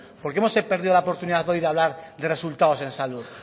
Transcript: por qué hemos perdido la oportunidad hoy de hablar de resultados en salud